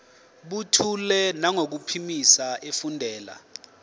buthule nangokuphimisa efundela